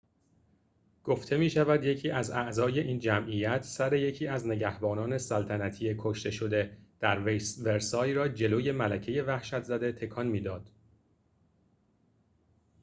گفته می‌شود یکی از اعضای این جمعیت سر یکی از نگهبانان سلطنتی کشته‌شده در ورسای را جلوی ملکۀ وحشت‌زده تکان می‌داد